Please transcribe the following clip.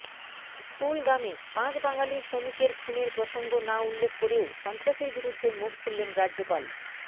কুলগামে পাঁচ বাঙালি শ্রমিকের খুনের প্রসঙ্গ না উল্লেখ করেও সন্ত্রাসের বিরুদ্ধে মুখ খুললেন রাজ্যপাল